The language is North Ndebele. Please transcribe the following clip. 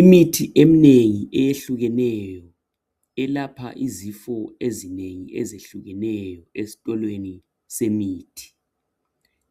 Imithi emnengi eyehlukeneyo elapha izifo ezinengi ezihlukeneyo esitolweni semithi